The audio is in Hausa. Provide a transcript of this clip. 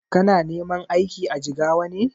Kana neman aiki a Jigawa ne?